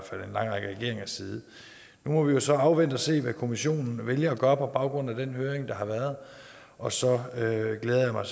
regeringers side nu må vi jo så afvente og se hvad kommissionen vælger at gøre på baggrund af den høring der har været og så glæder jeg mig